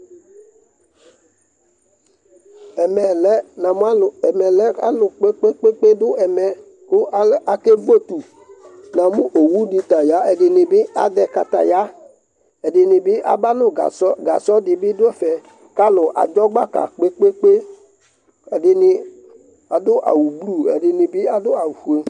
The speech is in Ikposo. Ɛmɛ lɛ, namʋ alʋ, ɛmɛ lɛ alʋ kpe-kpe-kpe dʋ ɛmɛ kʋ al akevu etu Namʋ owu dɩ ta ya, ɛdɩnɩ bɩ azɛ kataya, ɛdɩnɩ bɩ aba nʋ gasɔ, gasɔ dɩ bɩ dʋ ɛfɛ kʋ alʋ adʋ gbaka kpe-kpe-kpe Ɛdɩnɩ adʋ awʋblu, ɛdɩnɩ bɩ adʋ awʋfue